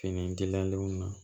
Fini gilalenw na